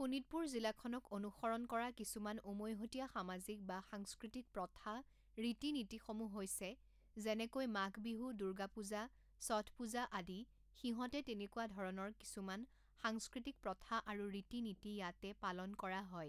শোণিতপুৰ জিলাখনক অনুসৰণ কৰা কিছুমান উমৈহতীয়া সামাজিক বা সাংস্কৃতিক প্ৰথা ৰীতি নীতিসমূহ হৈছে যেনেকৈ মাঘ বিহু দুৰ্গা পূজা ষঠ পূজা আদি সিহঁতে তেনেকুৱা ধৰণৰ কিছুমান সাংস্কৃতিক প্ৰথা আৰু ৰীতি নীতি ইয়াতে পালন কৰা হয়